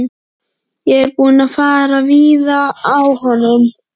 Ég er búinn að fara víða á honum.